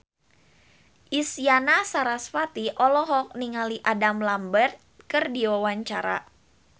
Isyana Sarasvati olohok ningali Adam Lambert keur diwawancara